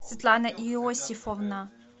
светлана иосифовна